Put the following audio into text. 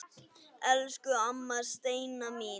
Elsku amma Steina mín.